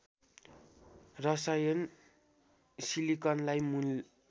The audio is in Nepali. रसायन सिलिकनलाई मूल